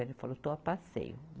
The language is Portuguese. Ela falou, estou a passeio.